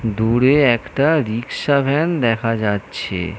দূরে একটা rickshaw van দেখা যাচ্ছে।